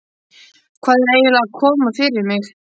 Hvað er eiginlega að koma fyrir mig?